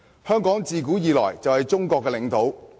香港自古以來就是中國的領土。